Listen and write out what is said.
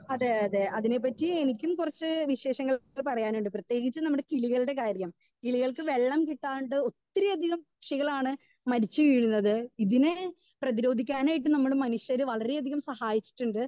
Speaker 2 അതെ അതെ അതിനെ പറ്റി എനിക്കും കുറിച്ച് വിശേഷങ്ങൾ പറയാനുണ്ട് പ്രേതേകിച്ച് നമ്മളുടെ കിളികളുടെ കാര്യം കിളികൾക്ക് വെള്ളം കിട്ടാണ്ട് ഒത്തിരി അധികം പക്ഷികളാണ് മരിച്ചു വീയുന്നത് ഇതിനെ പ്രീതിരോധിക്കാനായിട്ട് മനുഷ്യന് വളരെ യധികം സഹായിച്ചിട്ടുണ്ട്.